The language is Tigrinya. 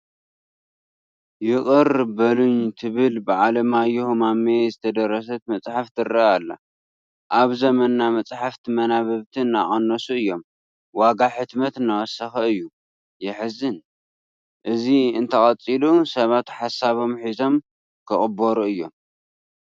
ይቕር በሉኝ ትብል ብዓለማዮህ ማሞ ዝተደረሰት መፅሓፍ ትርአ ኣላ፡፡ ኣብ ዘመንና መፃሕፍቲ መንበብቲ እናቐነሱ እዮም፡፡ ዋጋ ሕትመት እናወሰኸ እዩ፡፡ የሕዝን፡፡ እዚ እንተቐፂሉ ሰባት ሓሶቦም ሒዞሞ ክቕበሩ እዮም፡፡